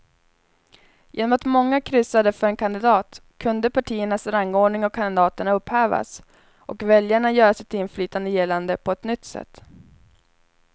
Genom att många kryssade för en kandidat kunde partiernas rangordning av kandidaterna upphävas och väljarna göra sitt inflytande gällande på ett nytt sätt.